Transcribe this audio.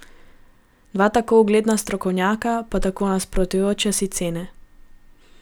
Dva tako ugledna strokovnjaka, pa tako nasprotujoče si ocene.